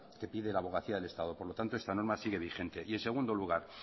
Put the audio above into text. que pide la abogacía del estado por lo tanto esta norma sigue vigente y en segundo lugar